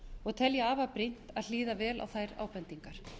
og tel ég afar brýnt að hlýða vel á þær ábendingar